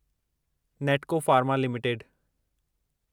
Natco Pharma limited